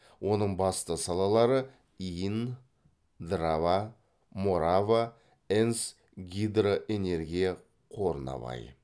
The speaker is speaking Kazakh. оның басты салалары инн драва морава энс гидроэнергия қорына бай